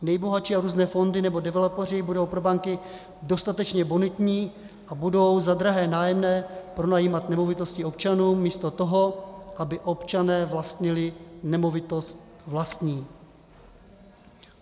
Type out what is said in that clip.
Nejbohatší a různé fondy nebo developeři budou pro banky dostatečně bonitní a budou za drahé nájemné pronajímat nemovitosti občanům místo toho, aby občané vlastnili nemovitost vlastní.